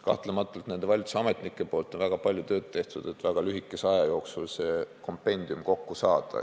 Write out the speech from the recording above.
Kahtlemata on valitsusametnikud väga palju tööd teinud, et väga lühikese aja jooksul kompendium kokku saada.